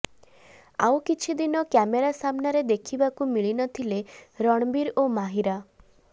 ଆଉ କିଛିଦିନ କ୍ୟାମେରା ସାମ୍ନାରେ ଦେଖିବାକୁ ମିଳିନଥିଲେ ରଣବୀର ଓ ମାହିରା